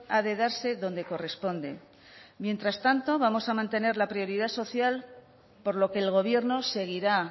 ha de darse donde corresponde mientras tanto vamos a mantener la prioridad social por lo que el gobierno seguirá